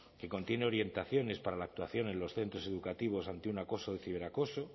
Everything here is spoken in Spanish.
que contiene orientaciones para la actuación en los centros educativos ante un acoso de ciberacoso